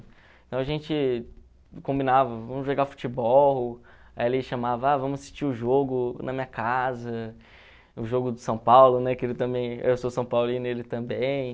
Então a gente combinava, vamos jogar futebol, aí ele chamava, ah, vamos assistir o jogo na minha casa, o jogo do São Paulo, né, que ele também, eu sou são paulino, ele também.